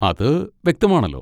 അത് വ്യക്തമാണല്ലോ.